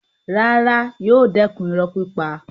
Rárá, yóò dẹ̀kun irọ́ pípa.